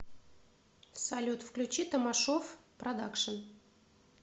салют включи тамашов продакшен